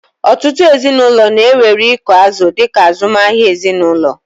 Ọtụtụ ezinụlọ na-ewere ịkụ azụ̀ dị ka azụmahịa ezinụlọ.